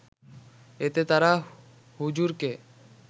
এতে তারা হুজুরকে